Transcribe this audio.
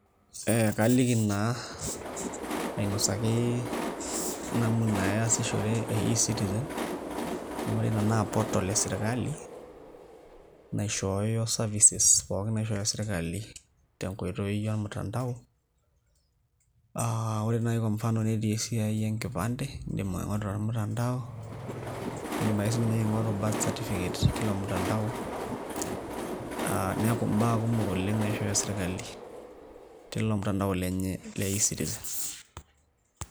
Ee kaliki naa ainasaki namna easishore e eCitizen amu ore ina naa portal e sirkali naishooyo services pookin naishooyo sirkali tenkoitoi ormutandao aa ore naai kwa mfano netii esiai enkipande, iindim aing'oru tormutandao iindim ake sininye aing'oru birth certificate tilo mutandao aa neeku mbaa kumok oleng' naishooyo sirkali tilo mutandao lenye le eCitizen.